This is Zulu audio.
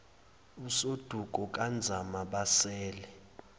usoduko kanzama basele